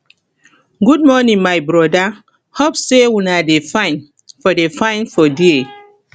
good morning my broda hope sey una dey fine for dey fine for there